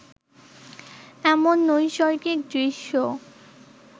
এমন নৈসর্গিক দৃশ্য